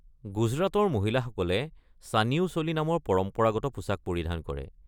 গুজৰাটৰ মহিলাসকলে চানিয়ো চোলি নামৰ পৰম্পৰাগত পোছাক পৰিধান কৰে।